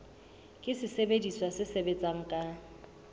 ke sesebediswa se sebetsang ka